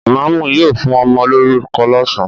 Ìmáámù yóò fún ọmọ lórúkọ lọ́sàn-án.